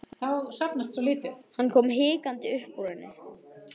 Hann kom hikandi upp úr henni.